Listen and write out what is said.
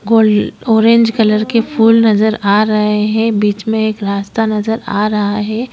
गोल orange colour की फ़ूल नजर आ रहे हैं बीच में एक रास्ता नजर आ रहा है।